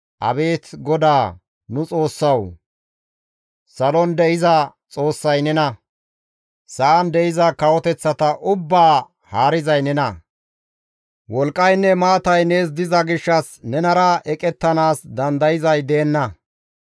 «Abeet GODAA nu Xoossawu! Salon de7iza Xoossay nena! Sa7an de7iza kawoteththata ubbaa haarizay nena! Wolqqaynne maatay nees diza gishshas nenara eqettanaas dandayzay deenna.